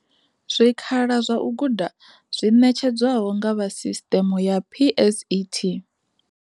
Zwikhala zwa u guda zwi ṋetshedzwaho nga vha sisṱeme ya PSET.